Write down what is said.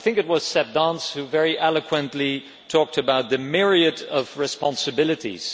I think it was Seb Dance who very eloquently talked about the myriad of responsibilities.